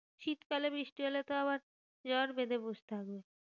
শীতকালে বৃষ্টি হলে তো আবার জ্বর বেঁধে বসে থাকবে।